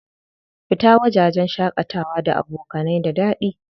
Fita wajajen shaƙatawa da abokanai da daɗi.